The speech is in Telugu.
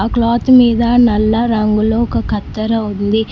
ఆ క్లాత్ మీద నల్ల రంగులో ఒక కత్తెర ఉంది.